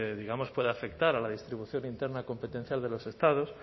pueda afectar a la distribución interna competencial de los estados